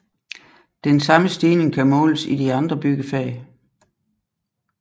Den samme stigning kan måles i de andre byggefag